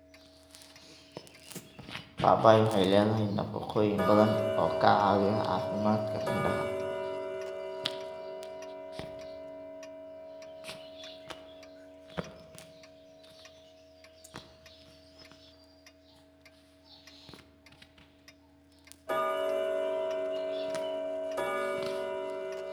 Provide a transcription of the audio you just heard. Papai waxay leedahay nafaqooyin badan oo ka caawiya caafimaadka indhaha.